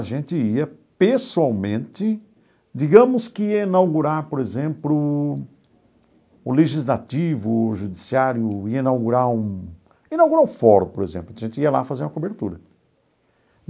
A gente ia pessoalmente, digamos que ia inaugurar, por exemplo, o Legislativo, o Judiciário, ia inaugurar um inaugurar o fórum, por exemplo, a gente ia lá fazer a cobertura.